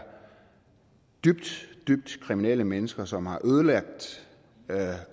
dybt dybt kriminelle mennesker som har ødelagt